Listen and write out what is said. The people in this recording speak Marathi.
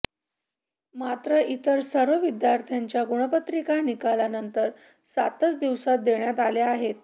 मात्र इतर सर्व विद्यार्थ्यांच्या गुणपत्रिका निकालानंतर सातच दिवसांत देण्यात आल्या आहेत